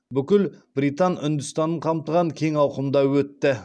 бүкіл британ үндістанын қамтыған кең ауқымда өтті